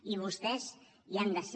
i vostès hi han de ser